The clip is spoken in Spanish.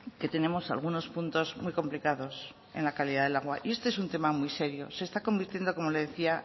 que tenemos algunos puntos muy complicados en la calidad del agua y este es un tema muy serio se está convirtiendo como le decía